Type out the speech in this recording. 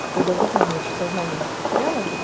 когда увидела меня чуть сознание не потерял